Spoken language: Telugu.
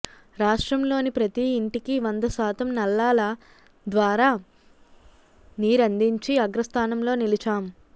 రాష్ట్రంలోని ప్రతీ ఇంటికి వంద శాతం నల్లాల ద్వారా నీరందించి అగ్రస్థానంలో నిలిచాం